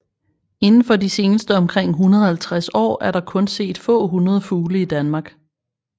Indenfor de seneste omkring 150 år er der kun set få hundrede fugle i Danmark